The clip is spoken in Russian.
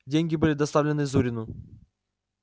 деньги были доставлены зурину